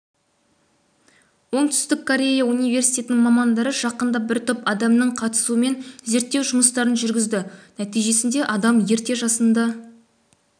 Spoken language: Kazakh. оңтүстік корея университетінің мамандары жақында бір топ адамның қатысуымен зерттеу жұмыстарын жүргізді нәтижесінде адам ерте жасында